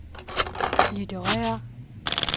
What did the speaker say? litterære